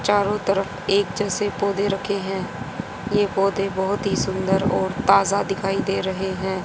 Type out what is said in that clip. चारों तरफ एक जैसे पौधे रखे हैं ये पौधे बहोत ही सुंदर और ताजा दिखाई दे रहे हैं।